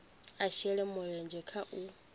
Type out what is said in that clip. a shele mulenzhe kha u